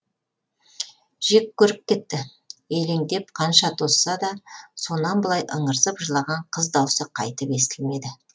жек көріп кетті елеңдеп қанша тосса да сонан былай ыңырсып жылаған қыз дауысы қайтып естілмеді